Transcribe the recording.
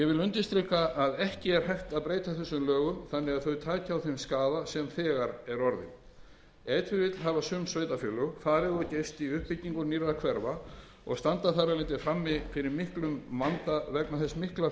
undirstrika að ekki hægt að breyta þessum lögum þannig að þau taki á þeim skaða sem þegar er orðinn ef til vill hafa sum sveitarfélög farið of geyst í uppbyggingu nýrra hverfa og standa þar af leiðandi frammi fyrir miklum vanda vegna þess mikla